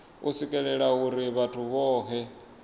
u swikelelwa uri vhathu vhohe